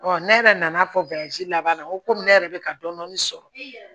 ne yɛrɛ nana fɔ laban na komi ne yɛrɛ bɛ ka dɔɔnin dɔɔnin sɔrɔ